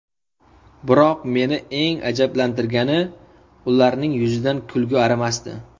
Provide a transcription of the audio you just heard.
Biroq meni eng ajablantirgani ularning yuzidan kulgi arimasdi.